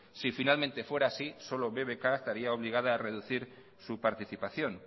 si finalmente fuera así solo bbk estaría obligada a reducir su participación